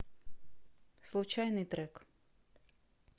случайный трек